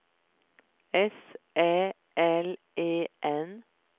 S Ä L E N